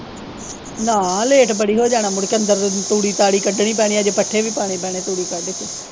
ਨਾ ਲੈੱਟ ਬੜੀ ਹੋ ਜਾਣਾ ਮੁੜਕੇ ਅੰਦਰ ਤੂੜੀ ਤਾਰੀ ਕੱਢਣੀ ਪੈਣੀ ਅਜੇ ਪੱਠੇ ਵੀ ਪਾਉਣੇ ਪੈਣੇ ਤੂੜੀ ਕੱਡ ਕੇ।